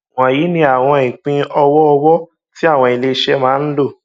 wọnyí ni àwọn ìpín ọwọọwọ tí àwọn iléiṣẹ máa ń lò